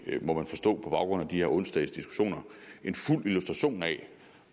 må man forstå på baggrund af onsdagenes diskussioner en fuld illustration af